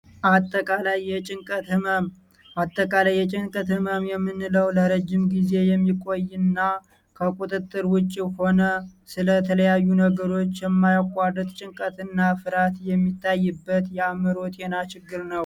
አተቃላይ የጭንቅት ሕመም የምንለው ለረጅም ጊዜ የሚቆይና ከቁጥትር ውጭ ሆነ ስለ ተለያዩ ነገሮች የማያቋደት ጭንቀትና ፍርሀት የሚታይበት ያምሮ ጤና ችግር ነው